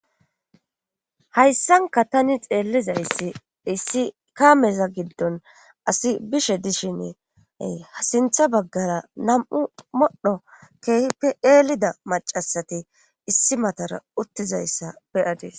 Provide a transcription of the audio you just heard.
hayssanka tani xeellizayssi issi kameza giddon asi bishe dishiny ha sintha baggara nam7u modho keehipe eelida macasati issi matara uttizayssa beyadis